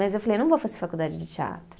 Mas eu falei, não vou fazer faculdade de teatro.